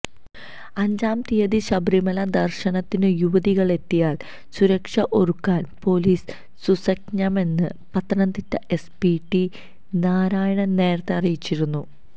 അഞ്ചാം തീയതി ശബരിമല ദര്ശനത്തിനു യുവതികളെത്തിയാല് സുരക്ഷ ഒരുക്കാന് പോലീസ് സുസജ്ജമെന്ന് പത്തനംതിട്ട എസ്പി ടി നാരായണന് നേരത്തെ അറിയിച്ചിരുന്നു